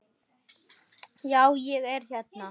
Já, ég er hérna.